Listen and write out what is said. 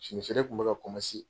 fini feere tun bɛ ka